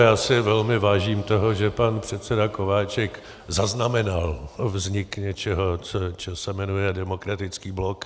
Já si velmi vážím toho, že pan předseda Kováčik zaznamenal vznik něčeho, co se jmenuje Demokratický blok.